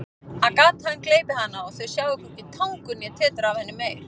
Að gatan gleypi hana og þau sjái hvorki tangur né tetur af henni meir.